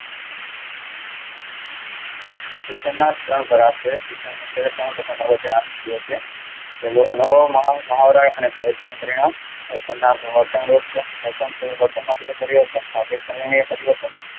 શિક્ષણના ત્રણ પ્રકાર છે. પહેલો અનુભવ મહાવરા નું પરિણામ.